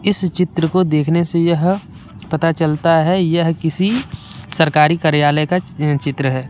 इस चित्र को देखने से यह पता चलता है यह किसी सरकारी कार्यालय का चित्र है।